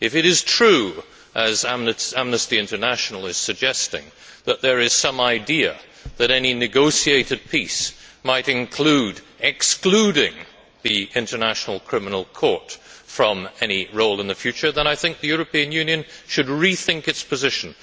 If it is true, as Amnesty International is suggesting, that there is some idea that any negotiated peace might include excluding the International Criminal Court from any role in the future, then I think the European Union should rethink its position.